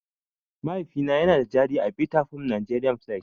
Mahaifina yana da jari a Vitafoam Nigeria Plc.